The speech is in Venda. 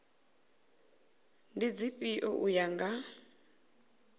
ndi dzifhio u ya nga